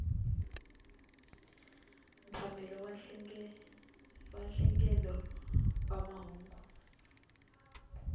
mphakelo wa nhlengelo wa mahungu